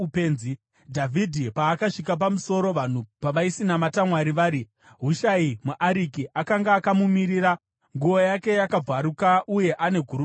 Dhavhidhi paakasvika pamusoro, vanhu pavaisinamata Mwari vari, Hushai muAriki akanga akamumirira, nguo yake yakabvaruka uye ane guruva mumusoro.